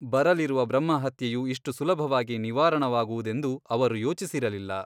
ಬರಲಿರುವ ಬ್ರಹ್ಮಹತ್ಯೆಯು ಇಷ್ಟು ಸುಲಭವಾಗಿ ನಿವಾರಣವಾಗುವುದೆಂದು ಅವರು ಯೋಚಿಸಿರಲಿಲ್ಲ.